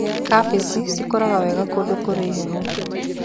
Kabici cikũraga wega kũndũ kũrĩ heho.